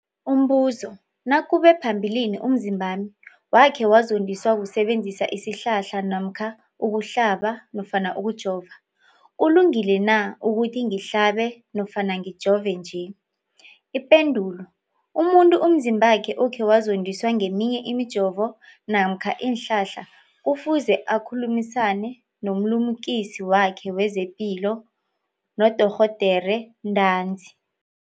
Umbuzo, nakube phambilini umzimbami wakhe wazondiswa kusebenzisa isihlahla namkha ukuhlaba nofana ukujova, kulungile na ukuthi ngihlabe nofana ngijove nje? Ipendulo, umuntu umzimbakhe okhe wazondiswa ngeminye imijovo namkha iinhlahla kufuze akhulumisane nomlimukisi wakhe wezepilo, nodorhoderakhe ntanzi.